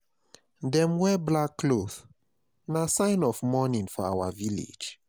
Dem wear black cloth, na sign of mourning for our village.